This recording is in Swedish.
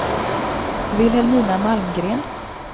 Vilhelmina Malmgren